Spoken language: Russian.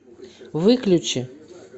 выключи